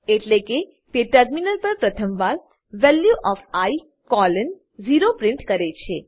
એટેલેકે તે ટર્મિનલ પર પ્રથવાર વેલ્યુ ઓએફ i 0 પ્રિન્ટ કરે છે